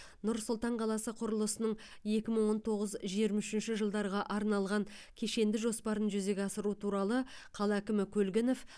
нұр сұлтан қаласы құрылысының екі мың он тоғыз жиырма үшінші жылдарға арналған кешенді жоспарын жүзеге асыру туралы қала әкімі көлгінов